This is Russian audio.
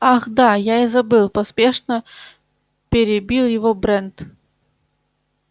ах да я и забыл поспешно перебил его брент